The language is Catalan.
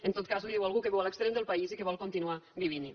en tot cas li ho diu algú que viu a l’extrem del país i que vol continuar vivint hi